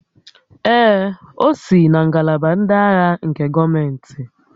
Ee, o si na ngalaba ndị agha nke gọọmentị